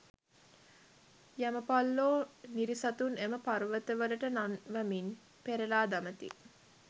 යමපල්ලෝ නිරිසතුන් එම පර්වතවලට නන්වමින් පෙරළා දමති.